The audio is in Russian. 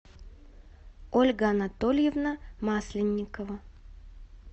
ольга анатольевна масленникова